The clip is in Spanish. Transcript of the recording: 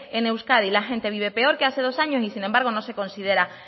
en euskadi vive peor que hace dos años y sin embargo no se considera